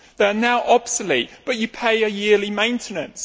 They are now obsolete, but you pay a yearly maintenance.